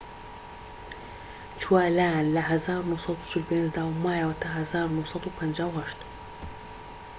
چووە لایان لە ١٩٤٥ دا و مایەوە تا ١٩٥٨